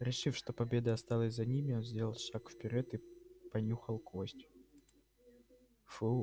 решив что победа осталась за ними лн сделал шаг вперёд и понюхал кость фу